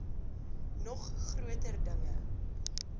nog groter dinge